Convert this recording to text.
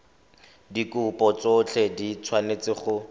dikopo tsotlhe di tshwanetse go